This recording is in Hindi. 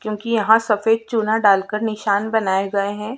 क्योंकि यहाँ सफ़ेद चुना डालकर निशान बनाये गए हैं।